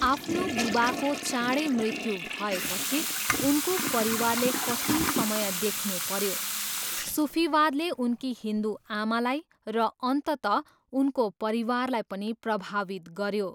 आफ्नो बुबाको चाँडै मृत्यु भएपछि, उनको परिवारले कठिन समय देख्नु पऱ्यो, सुफीवादले उनकी हिन्दु आमालाई, र अन्तत उनको परिवारलाई पनि प्रभावित गऱ्यो।